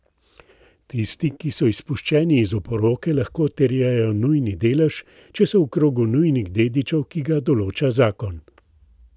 Tisti, ki so izpuščeni iz oporoke, lahko terjajo nujni delež, če so v krogu nujnih dedičev, ki ga določa zakon.